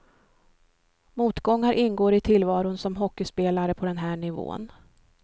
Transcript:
Motgångar ingår i tillvaron som hockeyspelare på den här nivån.